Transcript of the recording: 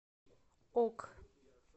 ок